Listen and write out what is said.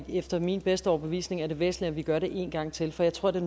efter min bedste overbevisning er det væsentligt at vi gør det en gang til for jeg tror det